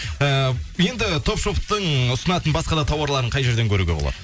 ыыы енді топ шоптың ұсынатын басқа да тауарларын қай жерден көруге болады